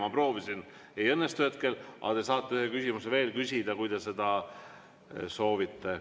Ma proovisin, ei õnnestu hetkel, aga te saate ühe küsimuse veel küsida, kui te seda soovite.